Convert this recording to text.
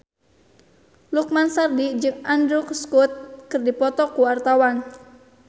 Lukman Sardi jeung Andrew Scott keur dipoto ku wartawan